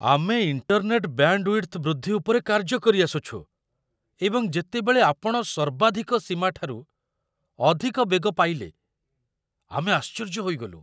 ଆମେ internet bandwidth ବୃଦ୍ଧି ଉପରେ କାର୍ଯ୍ୟ କରିଆସୁଛୁ, ଏବଂ ଯେତେବେଳେ ଆପଣ ସର୍ବାଧିକ ସୀମାଠାରୁ ଅଧିକ ବେଗ ପାଇଲେ ଆମେ ଆଶ୍ଚର୍ଯ୍ୟ ହୋଇଗଲୁ!